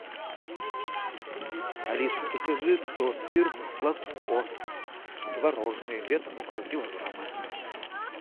алиса закажи торт фирмы сладко творожный весом около килограмма